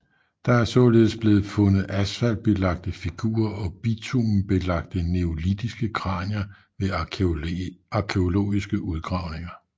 Der er således blevet fundet asfaltbelagte figurer og bitumenbelagte neolitiske kranier ved arkæologiske udgravninger